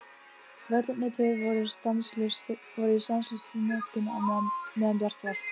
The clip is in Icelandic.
Vellirnir tveir voru í stanslausri notkun meðan bjart var.